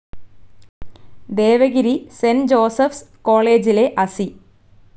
Devagiri saint Joseph's കോളേജിലെ അസി.